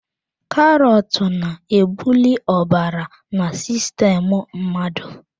Karọt na-ebuli ọbara na sistemu mmadụ.